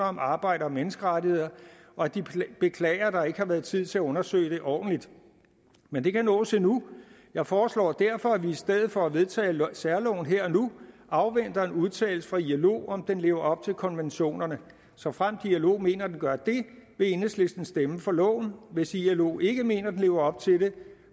om arbejds og menneskerettigheder og de beklager at der ikke har været tid til at undersøge det ordentligt men det kan nås endnu jeg foreslår derfor at vi i stedet for at vedtage særloven her og nu afventer en udtalelse fra ilo i om den lever op til konventionerne såfremt ilo mener at den gør det vil enhedslisten stemme for loven hvis ilo ikke mener at den lever op til det